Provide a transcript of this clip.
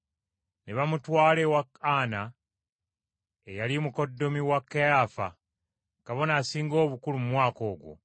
Ne bamutwala ewa Ana, eyali mukoddomi wa Kayaafa, Kabona Asinga Obukulu mu mwaka ogwo.